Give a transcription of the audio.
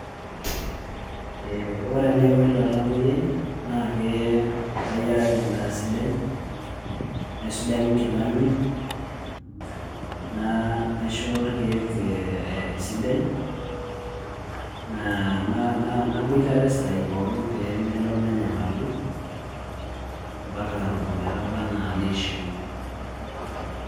Ore enaiko ilo tamuoyiai naa kayiaraki endaa sidai naisujaki nkilani naisho irkeek esidai naboitare isaai pookin pee melo nenyamalu ompaka ometaba enaa niishiu.